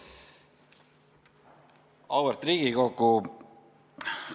Auväärt Riigikogu!